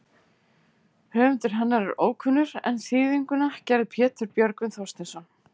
Höfundur hennar er ókunnur en þýðinguna gerði Pétur Björgvin Þorsteinsson.